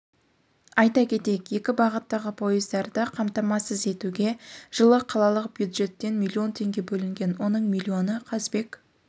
айта кетейік екі бағыттағы пойыздарды қамтамасыз етуге жылы қалалық бюджеттен миллион теңге бөлінген оның миллионы қазыбек